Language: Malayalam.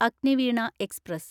അഗ്നിവീണ എക്സ്പ്രസ്